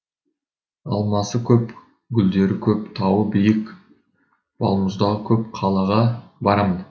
алмасы көп гүлдері көп тауы биік балмұздағы көп қалаға барамын